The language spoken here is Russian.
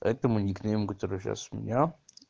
это мой никнейм который сейчас у меня